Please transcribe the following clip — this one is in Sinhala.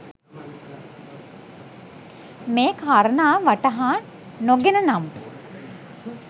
මේ කාරණාව වටහා නො ගෙන නම්